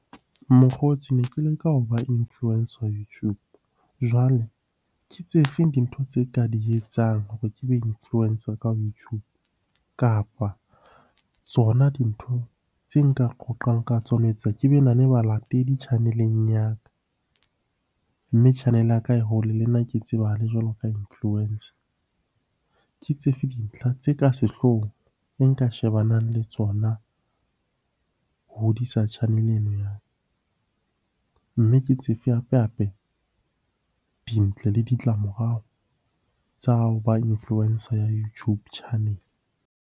Mokgotsi ne ke leka ho ba influencer YouTube. Jwale ke tse feng dintho tse ka di etsang hore ke be influencer ka YouTube, kapa tsona dintho tse nka qoqang ka tsona ho etsa ke be na le balatedi channel-eng ya ka. Mme channel-e ya ka e hole le nna ke tsebahale jwalo ka influencer. Ke tsefe dintlha tse ka sehloohong e nka shebanang le tsona ho hodisa channel-e eno ya. Mme ke tsefe hape-hape dintle le ditlamorao tsa ho ba influencer ya YouTube channel-e.